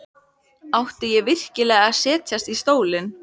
Átti ég virkilega að setjast í stólinn?